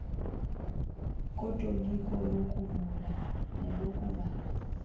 kotoliko lokuvula nelokuvala